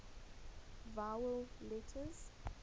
vowel letters